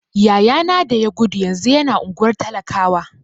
Yaya na da ya gudu yanzu yana unguwar talakawa.